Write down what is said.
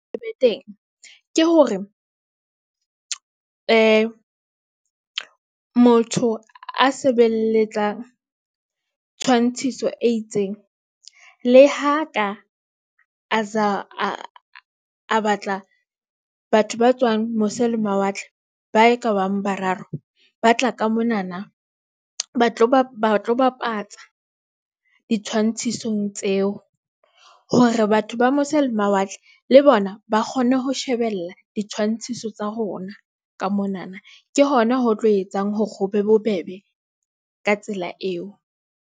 Le teng ke hore , motho a sebelletsang tshwantshiso e itseng le ha ka a batla. Batho ba tswang mose le mawatle ba e ka bang bararo ba tla ka monana, ba tlo bapatsa ditshwantshisong tseo hore batho ba mose le mawatle le bona ba kgone ho shebella di tshwantshiso tsa rona ka monana. Ke hona ho tlo etsang hore ho be bobebe ka tsela eo.